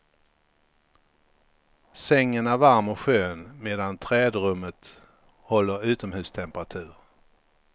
Sängen är varm och skön, medan trädrummet håller utomhustemperatur.